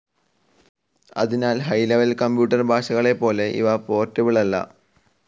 അതിനാൽ high level computer ഭാഷകളെപ്പോലെ ഇവ പോർട്ടബിൾ അല്ല.